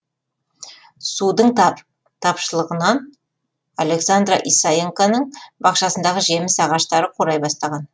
судың тапшылығынан александра исаенконың бақшасындағы жеміс ағаштары қурай бастаған